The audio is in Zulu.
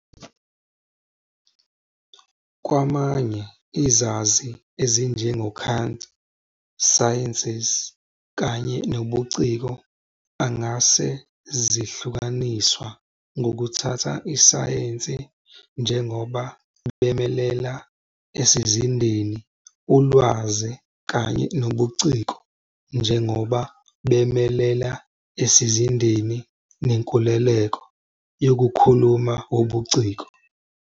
Kwamanye izazi ezinjengo Kant, sciences kanye nobuciko angase zihlukaniswa ngokuthatha isayensi njengoba bemelela esizindeni ulwazi kanye nobuciko njengoba bemelela esizindeni nenkululeko yokukhuluma wobuciko.